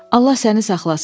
Allah səni saxlasın.